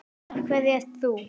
Af hverju ert þú.